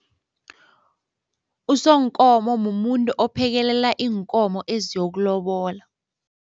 Usonkomo mumuntu ophekelela iinkomo eziyokulobola.